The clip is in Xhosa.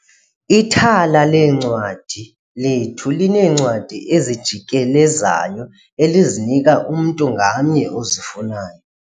Ithala leencwadi lethu lineencwadi ezijikelezayo elizinika umntu ngamnye ozifunayo.